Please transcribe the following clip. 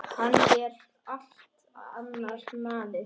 Hann er allt annar maður.